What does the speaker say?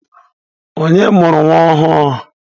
Onye mụrụ nwa ọhụrụ?